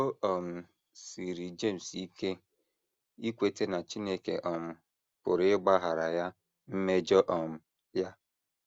O um siiri James ike ikweta na Chineke um pụrụ ịgbaghara ya mmejọ um ya.